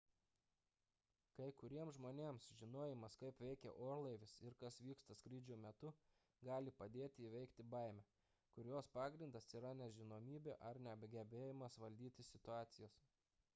kai kuriems žmonės žinojimas kaip veikia orlaivis ir kas vyksta skrydžio metu gali padėti įveikti baimę kurios pagrindas yra nežinomybė ar negebėjimas valdyti situacijos